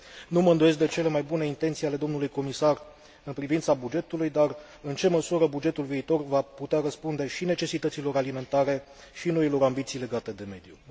Nu mă îndoiesc de cele mai bune intenții ale domnului comisar în privința bugetului, dar în ce măsură bugetul viitor va putea răspunde și necesităților alimentare și noilor ambiții legate de mediu?